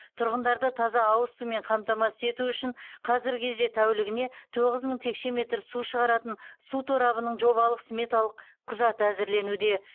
тұрғындарды таза ауыз сумен қамтамасыз ету үшін қазіргі кезде тәулігіне тоғыз мың текше метр су шығаратын су торабының жобалық сметалық құжаты әзірленуде